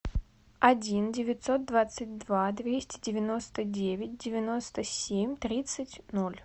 один девятьсот двадцать два двести девяносто девять девяносто семь тридцать ноль